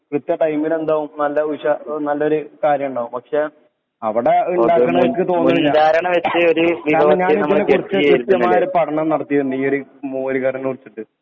വിറ്റ ടൈമിലെന്താവും നല്ല ഉഷാ നല്ലൊരു കാര്യണ്ടാവും പക്ഷെ അവടെ ഇണ്ടാക്ക്ണോൽക്ക് തോന്നണില്ല കാരണം ഞാനൊരിക്കലും കൃത്യമായൊരു പഠനം നടത്തിയിണ്ട് ഈ ഒരു മോര് കറിനെ കുറിച്ച്